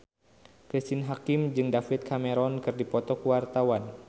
Cristine Hakim jeung David Cameron keur dipoto ku wartawan